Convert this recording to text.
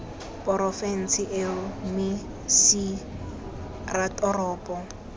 porofense eo mme c ratoropo